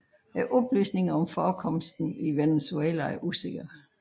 Oplysninger om forekomsten i Venezuela er usikker